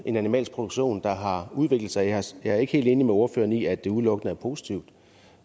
en animalsk produktion der har udviklet sig jeg er ikke helt enig med ordføreren i at det udelukkende er positivt